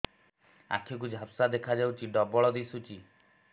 ଆଖି କୁ ଝାପ୍ସା ଦେଖାଯାଉଛି ଡବଳ ଦିଶୁଚି